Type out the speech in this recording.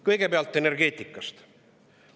Kõigepealt energeetikast.